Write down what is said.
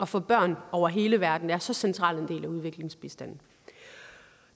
for børn over hele verden er så central en del af udviklingsbistanden